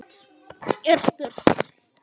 er spurt.